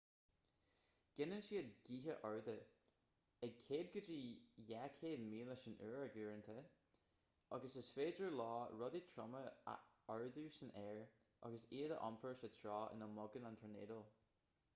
gineann siad gaotha arda ag 100-200 míle san uair uaireanta agus is féidir leo rudaí troma a ardú san aer agus iad a iompar sa treo ina mbogann an tornádó